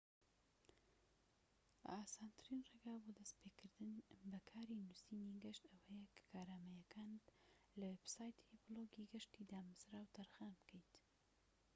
ئاسانترین ڕێگا بۆ دەست پێكردن بە کاری نووسینی گەشت ئەوەیە کە کارامەییەکانت لە وێبسایتی بلۆگی گەشتی دامەزراو تەرخان بکەیت